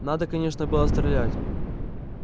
надо конечно было стрелять